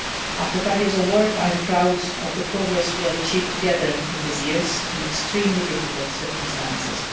it. After five years of work, I am proud of the progress we have achieved together in these years, in extremely difficult circumstances.